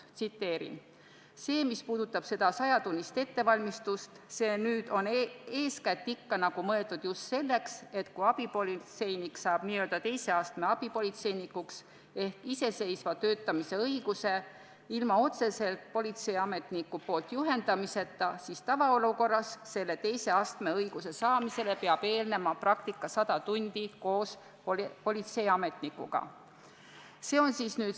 Tsiteerin: "See, mis puudutab sajatunnist ettevalmistust, on mõeldud eeskätt selleks, et enne, kui abipolitseinik saab n-ö teise astme abipolitseinikuks ehk õiguse töötada iseseisvalt, ilma et politseiametnik teda otseselt juhendaks, siis tavaolukorras peab selle teise astme õiguse saamisele eelnema saja tunni pikkune praktika politseiametniku seltsis.